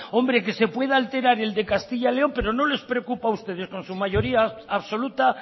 que se pueda alterar el de castilla y león pero no les preocupa a ustedes con su mayoría absoluta